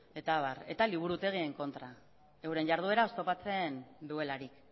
eta abar eta liburutegien kontra euren jarduera oztopatzen duelarik